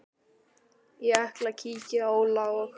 Ég ætla að kíkja á Óla og